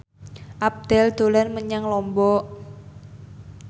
Abdel dolan menyang Lombok